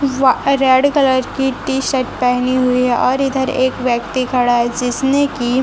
रे red colour की t-shirt पहनी हुई और इधर एक व्यक्ति खड़ा है जिसने की--